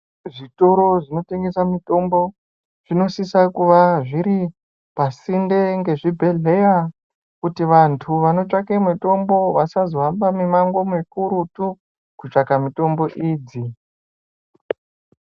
Zvitoro zvinotengesa mutombo zvinosisa kuva zviri pasinde ngezvibhedhleya. Kuti vantu vanotsvake mitombo vasazohamba mumango mukurutu kotsvaka mitombo idzi.